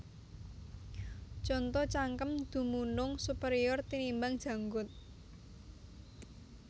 Conto Cangkem dumunung superior tinimbang janggut